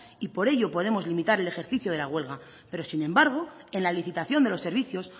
y por ello podemos limitar el ejercicio de la huelga pero sin embargo en la licitación de los servicios